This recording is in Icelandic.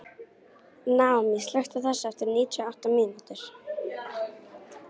Naomí, slökktu á þessu eftir níutíu og átta mínútur.